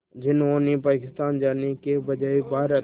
जिन्होंने पाकिस्तान जाने के बजाय भारत